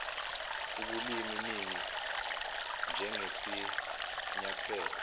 ubulimi ningi njengesinyathelo